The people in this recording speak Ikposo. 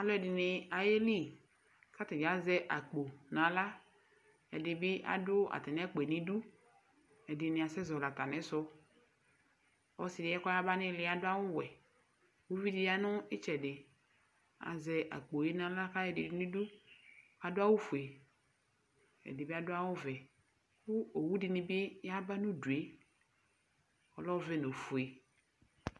Alu ɛdɩnɩ ayeli, kʋ atani azɛ akpo nʋ aɣla, ɛdɩnɩ bɩ adu atami akpo yɛ nʋ idu, ɛdɩnɩ asɛzɔlɩ atamisu Ɔsɩ yɛ kʋ ɔyaba nʋ ili yɛ adu awuwɛ Uvi di ya nʋ ɩtsɛdɩ, azɛ akpo nʋ aɣla kʋ ayɔ ɛdɩ yɔdʋ nʋ idu Adu awufue, ɛdɩ bɩ adu awuvɛ Kʋ owu dini yaba nʋ udu yɛ, alɛ ɔvɛ nʋ ofue